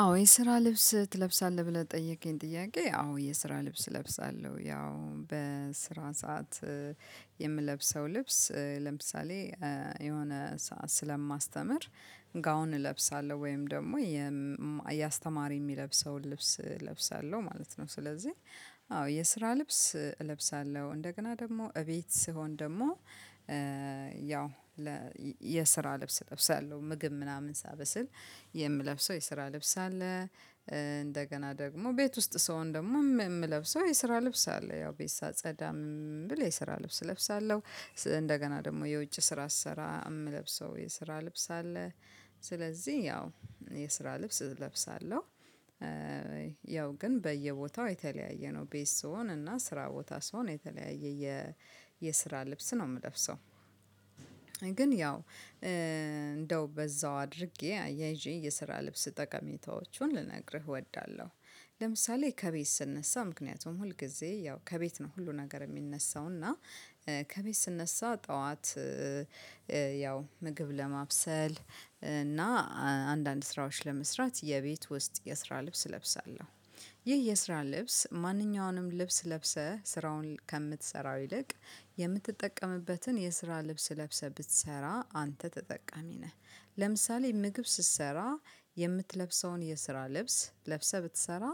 አዎ የስራ ልብስ ትለብሳለህ ብለህ ጠየከኝ? ጥያቄ አዎ የስራ ልብስ እለብሳለሁ ያው በስራ ሰዓት የምለብሰው ልብስ ለምሳሌ የሆነ ስለማስተምር ጋውን እለብሳለሁ ወይም ደግሞ የ የአስተማሪ የሚለብሰውን ልብስ እለብሳለሁ ማለት ነው። ስለዚህ አዎ የስራ ልብስ እለብሳለሁ። እንደገና ደግሞ እቤት ስሆን ደግሞ ያው ለ የስራ ልብስ እለብሳለሁ ምግብ ምናምን ሳበስል የምለብሰው የስራ ልብስ አለ። እንደገና ደግሞ ቤት ውስጥ ስሆን ደግሞ የምለብሰው የስራ ልብስ አለ። ያው ቤት ሳጸዳም ብል የስራ ልብስ እለብሳለሁ እንደገና ደግሞ የውጭ ስራ አሰራ የምለብሰው የስራ ልብስ አለ። ስለዚህ ያው የስራ ልብስ እለብሳለሁ። ያው ግን በየቦታው የተለያየ ነው ቤት ስሆን እና ስራ ቦታ ስሆን የተለያየ የ የስራ ልብስ ነው የምለብሰው። ግን ያው እንደው በዛው አድርጌ አያይዤ የስራ ልብስ ጠቀሜታዎቹን ልነግርህ እወዳለሁ። ለምሳሌ ከቤት ስነሳ ምክንያቱም ሁል ጊዜ ያው ከቤት ነው ሁሉ ነገር የሚነሳው እና ከቤት ስነሳ ጠዋት። ያው ምግብ ለማብሰል እና አንዳንድ ስራዎች ለመስራት የቤት ውስጥ የስራ ልብስ እለብሳለሁ። ይህ የስራ ልብስ ማንኛውንም ልብስ ለብሰህ ስራውን ከምትሰራው ይልቅ የምትጠቀምበትን የስራ ልብስ ለብሰህ ብትሰራ አንተ ተጠቃሚ ነህ። ለምሳሌ ምግብ ስትሰራ የምትለብሰውን የስራ ልብስ ለብሰህ ብትሰራ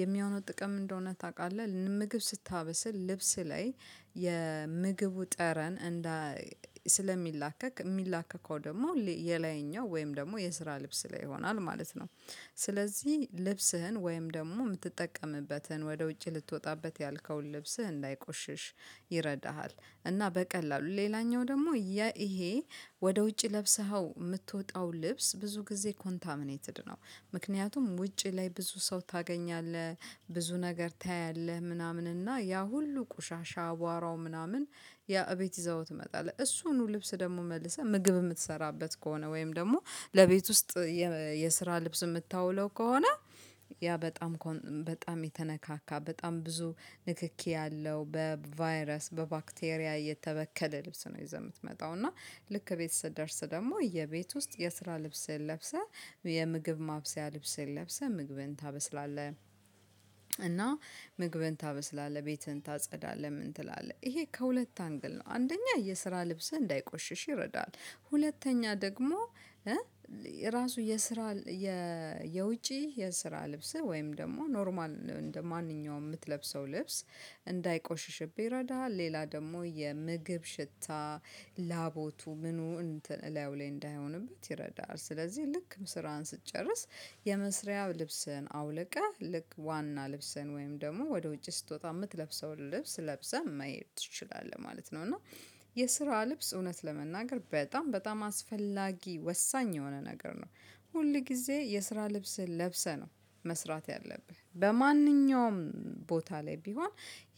የሚሆነው ጥቅም እንደሆነ ታውቃለህ ምግብ ስታበስል ልብስ ላይ የምግቡ ጠረን እንዳ ስለሚላከክ የሚላከከው ደግሞ የላይኛው ወይም ደግሞ የስራ ልብስ ላይ ይሆናል ማለት ነው። ስለዚህ ልብስህን ወይም ደግሞ የምትጠቀምበትን ወደ ውጭ ልትወጣበት ያልከውን ልብስህ እንዳይቆሽሽ ይረዳሃል። እና በቀላሉ ሌላኛው ደግሞ የ ይሄ ወደ ውጪ ለብሰኸው የምትወጣው ልብስ ብዙ ጊዜ ኮንታሚኔትድ ነው። ምክንያቱም ውጪ ላይ ብዙ ሰው ታገኛለህ ብዙ ነገር ታያለህ ምናምን እና ያ ሁሉ ቁሻሻ አቧራው ምናምን። ያ እቤት ይዘኸው ትመጣለህ እሱኑ ልብስ ደግሞ መልሰህ ምግብ የምትሰራበት ከሆነ ወይም ደግሞ ለቤት ውስጥ የስራ ልብስ የምታውለው ከሆነ ያ በጣም በጣም የተነካካ በጣም ብዙ ንክኪ ያለው በቫይረስ በባክቴሪያ እየተበከለ ልብስ ነው። የምትመጣው እና ልክ ቤት ስትደርስ ደግሞ የቤት ውስጥ የስራ ልብስህን ለብሰህ የምግብ ማብሰያ ልብስህን ለብሰህ ምግብህን ታበስላለህ። እና ምግብን ታበስላለህ ቤትህን ታጸዳለህ ምን ትላለህ ይሄ ከሁለት አንግል ነው። አንደኛ የስራ ልብስህ እንዳይቆሽሽ ይረዳል። ሁለተኛ ደግሞ ራሱ የስራ የውጪ የስራ ልብስህ ወይም ደግሞ ኖርማል እንደማንኛውም የምትለብሰው ልብስ። እንዳይቆሽሽብህ ይረዳሃል ሌላ ደግሞ የምግብ ሽታ ላቦቱ ምኑ እንትን ላዩ ላይ እንዳይሆንበት ይረዳሀል። ስለዚህ ልክ ስራህን ስትጨርስ የመስሪያው ልብስህን አውልቀህ ልክ ዋና ልብስህን ወይም ደግሞ ወደ ውጭ ስትወጣ የምትለብሰውን ልብስ ለብሰህ መሄድ ትችላለህ ማለት ነው። እና የስራ ልብስ እውነት ለመናገር በጣም በጣም አስፈላጊ ወሳኝ የሆነ ነገር ነው። ሁል ጊዜ የስራ ልብስህን ለብሰህ ነው መስራት ያለብህ በማንኛውም ቦታ ላይ ቢሆን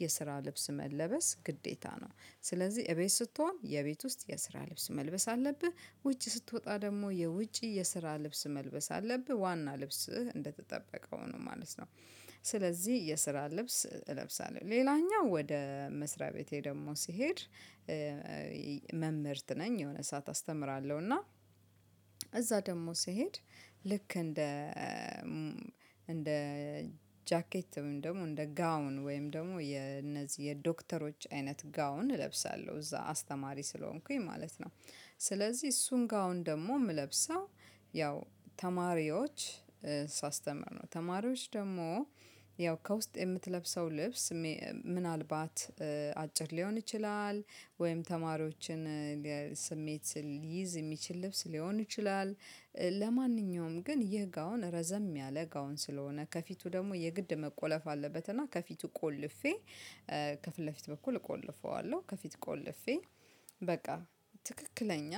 የስራ ልብስ መለበስ ግዴታ ነው። ስለዚህ እቤት ስትሆን የቤት ውስጥ የስራ ልብስ መልበስ አለብህ። ውጪ ስትወጣ ደግሞ የውጪ የስራ ልብስ መልበስ አለብህ ዋና ልብስህ እንደተጠበቀው ነው ማለት ነው። ስለዚህ የስራ ልብስ እለብሳለሁ ሌላኛው ወደ መስሪያ ቤቴ ደግሞ ስሄድ። መምህርት ነኝ የሆነ ሰዓት አስተምራለሁ እና እዛ ደግሞ ስሄድ ልክ እንደ እንደ ጃኬት ወይም ደግሞ እንደ ጋውን ወይም ደግሞ የነዚህ የዶክተሮች አይነት ጋውን እለብሳለሁ እዛ አስተማሪ ስለሆንኩኝ ማለት ነው። ስለዚህ እሱን ጋውን ደግሞ የምለብሰው ያው ተማሪዎች ሳስተምር ነው። ተማሪዎች ደግሞ ያው ከውስጥ የምትለብሰው ልብስ ምናልባት አጭር ሊሆን ይችላል። ወይም ተማሪዎችን ስሜት ሊይዝ የሚችል ልብስ ሊሆን ይችላል። ለማንኛውም ግን ይህ ጋውን ረዘም ያለ ጋውን ስለሆነ ከፊቱ ደግሞ የግድ መቆለፍ አለበት እና ከፊቱ ቆልፌ ከፊት ለፊት በኩል እቆልፈዋለሁ። ከፊት ቆልፌ በቃ ትክክለኛ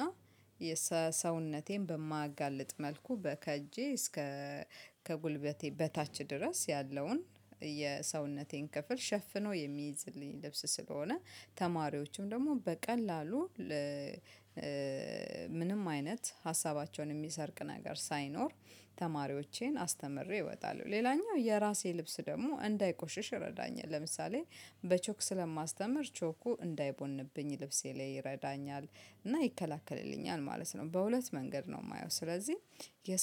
የሰውነቴን በማያጋልጥ መልኩ ከእጄ እስከ ከጉልበቴ በታች ድረስ ያለውን የሰውነቴን ክፍል ሸፍኖ የሚይዝልኝ ልብስ ስለሆነ። ተማሪዎችም ደግሞ በቀላሉ ለ ምንም አይነት ሀሳባቸውን የሚሰርቅ ነገር ሳይኖር ተማሪዎቼን አስተምሬ እወጣለሁ። ሌላኛው የራሴ ልብስ ደግሞ እንዳይቆሽሽ ይረዳኛል። ለምሳሌ በቾክ ስለማስተምር ቾኩ እንዳይቦንብኝ ልብሴ ላይ ይረዳኛል። እና ይከላከልልኛል ማለት ነው። በሁለት መንገድ ነው የማየው። ስለዚህ